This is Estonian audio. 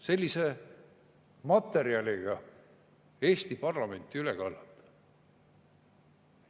Sellise materjaliga Eesti parlamenti üle kallata!